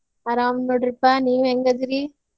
ಅರಾಮ್ ನೋಡ್ರಿಪಾ ನೀವ್ ಹೆಂಗ್ ಅದಿರಿ?